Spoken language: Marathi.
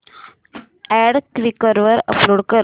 अॅड क्वीकर वर अपलोड कर